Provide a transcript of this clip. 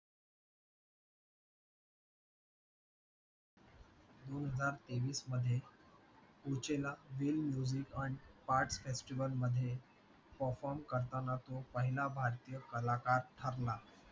दोन हजार तेवीस मध्ये part festival मध्ये perform करताना तो पहिला भारतीय कलाकार ठरला